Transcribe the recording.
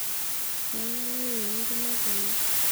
keng'ae nainua enkima tene